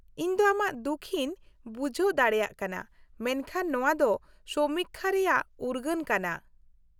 -ᱤᱧᱫᱚ ᱟᱢᱟᱜ ᱫᱩᱠᱷᱤᱧ ᱵᱩᱡᱷᱦᱟᱹᱣ ᱫᱟᱲᱮᱭᱟᱜ ᱠᱟᱱᱟ, ᱢᱮᱱᱠᱷᱟᱱ ᱱᱚᱣᱟ ᱫᱚ ᱥᱚᱢᱤᱠᱠᱷᱟ ᱨᱮᱭᱟᱜ ᱩᱨᱜᱟᱹᱱ ᱠᱟᱱᱟ ᱾